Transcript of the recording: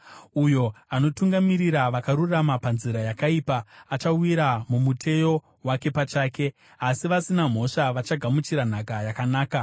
Uyo anotungamirira vakarurama panzira yakaipa, achawira mumuteyo wake pachake, asi vasina mhosva vachagamuchira nhaka yakanaka.